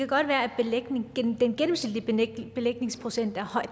godt være at den gennemsnitlige belægningsprocent er høj